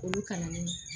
Olu kalannen